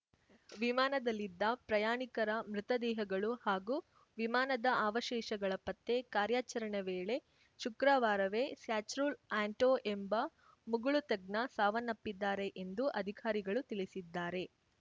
ವಿಮಾನದಲ್ಲಿದ್ದ ಪ್ರಯಾಣಿಕರ ಮೃತ ದೇಹಗಳು ಹಾಗೂ ವಿಮಾನದ ಅವಶೇಷಗಳ ಪತ್ತೆ ಕಾರ್ಯಾಚರಣೆ ವೇಳೆ ಶುಕ್ರವಾರವೇ ಸ್ಯಚ್ರುಲ್‌ ಆ್ಯಂಟೊ ಎಂಬ ಮುಳುಗು ತಜ್ಞ ಸಾವನ್ನಪ್ಪಿದ್ದಾರೆ ಎಂದು ಅಧಿಕಾರಿಗಳು ತಿಳಿಸಿದ್ದಾರೆ